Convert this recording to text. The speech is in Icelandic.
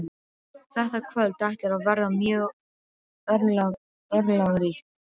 Þetta kvöld ætlar að verða mjög örlagaríkt.